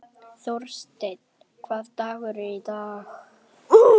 Þórsteinn, hvaða dagur er í dag?